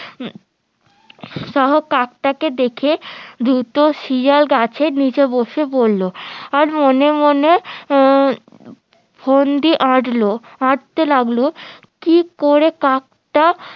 সহ কাকটাকে দেখে ধূর্ত শিয়াল গাছের নিচে বসে পড়লো আর মনে মনে ফন্দি আটলো আটতে লাগলো কি করে কাকটা